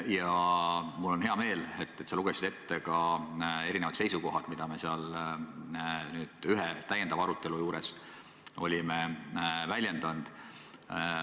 Ja mul on hea meel, et sa lugesid ette ka erinevad seisukohad, mida me ühel täiendaval arutelul olime väljendanud.